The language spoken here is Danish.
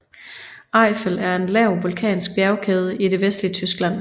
Eifel er en lav vulkansk bjergkæde i det vestlige Tyskland